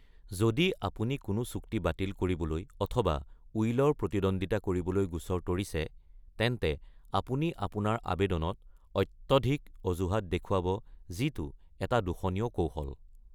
যদি আপুনি কোনো চুক্তি বাতিল কৰিবলৈ অথবা উইলৰ প্ৰতিদ্বন্দ্বিতা কৰিবলৈ গোচৰ তৰিছে, তেন্তে আপুনি আপোনাৰ আবেদনত অত্যধিক অজুহাত দেখুৱাব যিটো এটা দূষণীয় কৌশল।